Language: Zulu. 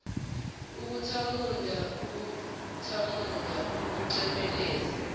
ukuthamunda ukuqamunda ukuthemeleza